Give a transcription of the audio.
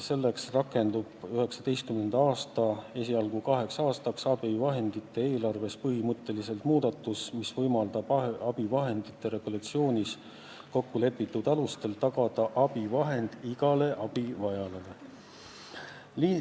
Selleks rakendub 2019. aastal – esialgu kaheks aastaks – abivahendite eelarves tehtav põhimõtteline muudatus, mis võimaldab abivahendite regulatsioonis kokkulepitud alustel tagada abivahend igale abivajajale.